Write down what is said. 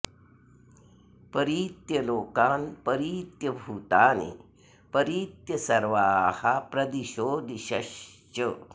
परीत्य लोकान् परीत्य भूतानि परीत्य सर्वाः प्रदिशो दिशश्च